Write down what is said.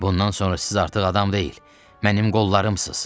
Bundan sonra siz artıq adam deyil, mənim qollarımsız.